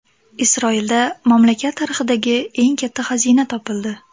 Isroilda mamlakat tarixidagi eng katta xazina topildi.